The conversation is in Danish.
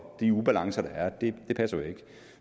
de ubalancer der er passer jo ikke